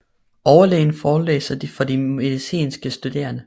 Overlægen forelæser for de medicinske studerende